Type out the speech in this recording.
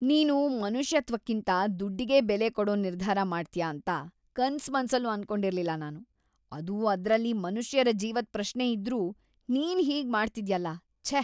ನೀನು ಮನುಷ್ಯತ್ವಕ್ಕಿಂತ ದುಡ್ಡಿಗೇ ಬೆಲೆ ಕೊಡೋ ನಿರ್ಧಾರ ಮಾಡ್ತ್ಯಾ ಅಂತ ಕನ್ಸ್‌ಮನ್ಸಲ್ಲೂ ಅನ್ಕೊಂಡಿರ್ಲಿಲ್ಲ ನಾನು.. ಅದೂ ಅದ್ರಲ್ಲಿ ಮನುಷ್ಯರ ಜೀವದ್‌ ಪ್ರಶ್ನೆ ಇದ್ರೂ ನೀನ್‌ ಹೀಗ್ ಮಾಡ್ತಿದ್ಯಲ್ಲ.. ಛೇ!